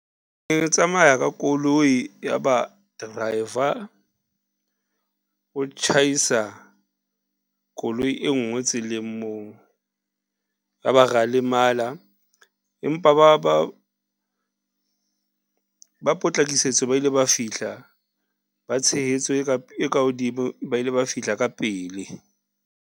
Ke tsamaya ka koloi yaba driver o tjhaisa koloi e nngwe tseleng moo, yaba ra lemala empa ba potlakisetso, ba ile ba fihla ba tshehetso e ka hodimo ba ile ba fihla ka pele.